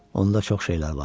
Onda çox şeylər var.